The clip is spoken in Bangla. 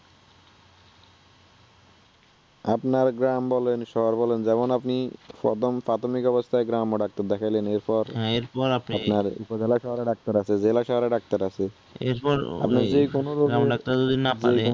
আপনার গ্রাম বলেন আর শহর বলেন যেমন আপনিই প্রথম প্রাথমিক অবস্থায় গ্রাম্য ডাক্তার দেখাইলেন এরপর , আপনার উপজেলা শহরে ডাক্তার আছে জেলা শহরে ডাক্তার আছে, আপনি যে কোন রোগের